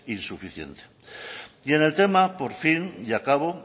insuficiente y en el tema por fin y acabo